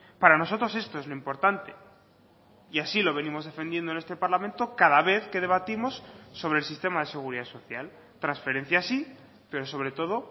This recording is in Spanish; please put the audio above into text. para nosotros esto es lo importante y así lo venimos defendiendo en este parlamento cada vez que debatimos sobre el sistema de seguridad social transferencias sí pero sobre todo